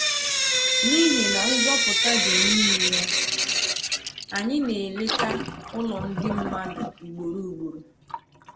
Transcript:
N’ihi na nzọpụta dị n’ime ya, anyị na-eleta ụlọ ndị mmadụ ugboro ugboro.